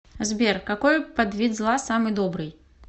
сбер какой подвид зла самый добрый